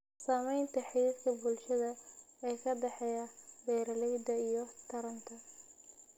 Saamaynta xidhiidhka bulsho ee ka dhexeeya beeralayda iyo taranta.